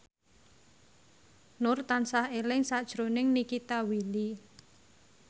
Nur tansah eling sakjroning Nikita Willy